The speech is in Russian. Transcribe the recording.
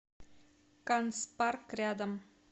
канцпарк рядом